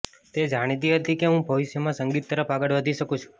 તે જાણતી હતી કે હું ભવિષ્યમાં સંગીત તરફ આગળ વધી શકું છું